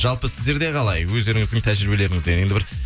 жалпы сіздерде қалай өздеріңіздің тәжірибелеріңізден енді бір